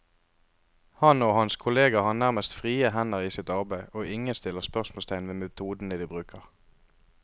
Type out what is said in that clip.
Han og hans kolleger har nærmest frie hender i sitt arbeid, og ingen stiller spørsmålstegn ved metodene de bruker.